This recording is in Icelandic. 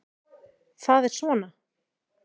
Það er svona.